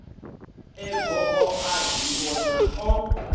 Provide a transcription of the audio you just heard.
e goo a ḓivhona o